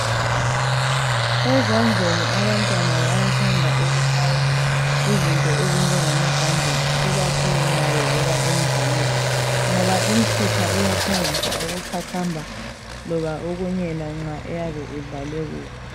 Ezandleni abantwana bayathanda ukufakwa izinto ezinjengamabhanditshi, ikakhulu nxa bevela emdlalweni, ngoba imisipha iyaphangisa ukuqhaqhamba. Loba okunyela yena nxa eyabe edlale kubi.